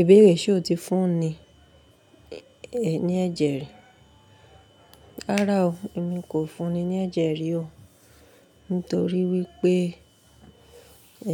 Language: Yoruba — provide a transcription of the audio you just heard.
Ìbéèrè ṣe o ti fún ni ní ẹ̀jẹ̀ rí? Rárá o, èmi kò fún ni ní ẹ̀jẹ̀ rí o. Nítorí wípé